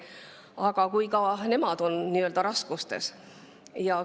Aga kui ka nemad on raskustes?